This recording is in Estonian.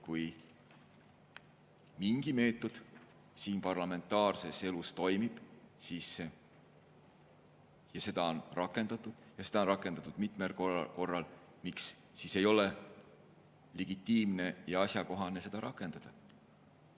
Kui mingi meetod siin parlamentaarses elus toimib ja seda on rakendatud, on rakendatud mitmel korral, miks siis ei ole legitiimne ja asjakohane seda rakendada?